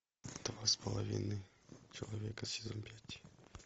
два с половиной человека сезон пять